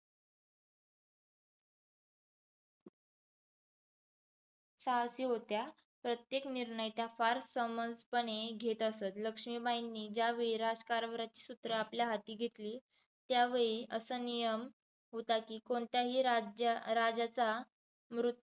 साहसी होत्या, प्रत्येक निर्णय त्यांनी फास समंजसपणे घेत असत. लक्ष्मीबाईंनी ज्या वेळी राज्यकारभाराची सूत्रे आपल्या हाती घेतली, त्यावेळी असा नियम होता की कोणत्याही राज्य राजाचा मृत्यू